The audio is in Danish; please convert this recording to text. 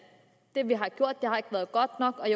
det vi har gjort har været godt nok og